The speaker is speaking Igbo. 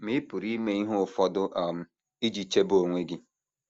Ma ị pụrụ ime ihe ụfọdụ um iji chebe onwe gị.